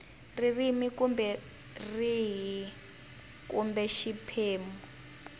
rihi kumbe rihi kumbe xiphemu